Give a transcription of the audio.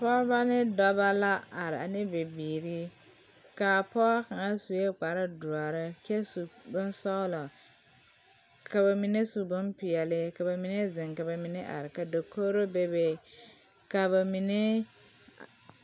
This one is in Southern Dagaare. Pɔge ne dɔba la are ane bibiiri k,a pɔge kaŋ sue kparedɔre kyɛ su bonsɔglɔ ka ba mine su bompeɛle ka ba mine zeŋ ka ba mine are ka dakogro bebe ka ba mine.